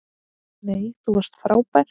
Nei, þú varst frábær!